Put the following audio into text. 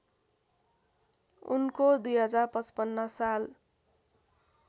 उनको २०५५ साल